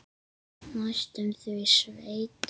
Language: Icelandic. Næstum því sveit.